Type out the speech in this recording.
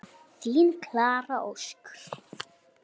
Þín Klara Ósk.